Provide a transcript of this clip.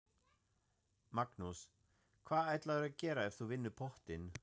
Magnús: Hvað ætlarðu að gera ef þú vinnur pottinn?